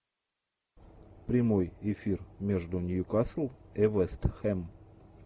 прямой эфир между ньюкасл и вестхэм